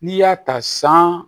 N'i y'a ta san